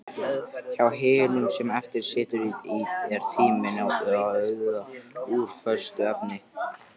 Hjá hinum sem eftir situr er tíminn úr föstu efni.